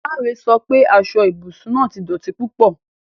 Lanre sọ pe aso ibusun naa ti dọti pupọ